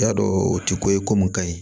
I y'a dɔn o ti ko ye ko mun ka ɲi